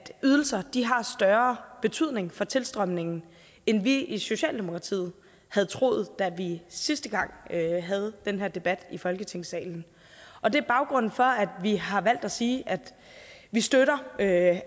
ydelser har større betydning for tilstrømningen end vi i socialdemokratiet havde troet da vi sidste gang havde den her debat i folketingssalen og det er baggrunden for at vi har valgt at sige at vi støtter at